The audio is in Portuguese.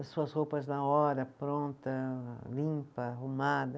As suas roupas na hora, pronta, limpa, arrumada.